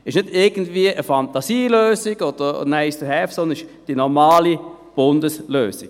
Es ist nicht irgendeine Fantasielösung oder ein Nice-to-have, sondern es ist die normale Bundeslösung.